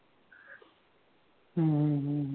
हम्म अह